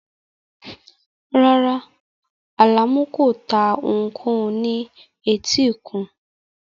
Rárá, Alamu kò ta ohunkóhun ní etíkun